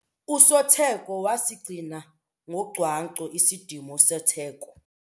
Usotheko wasigcina ngocwangco isidima setheko.